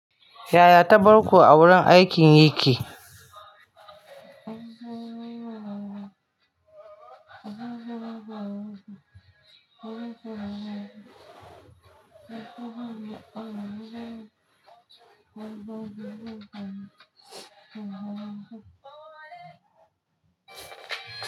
Yaya ta bar ku a wurin aikin yake?